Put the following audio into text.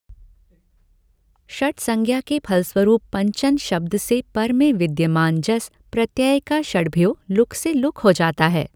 षट्संज्ञा के फलस्वरूप पञ्चन् शब्द से पर में विद्यमान जस् प्रत्यय का षड्भ्यो लुक् से लुक् हो जाता है।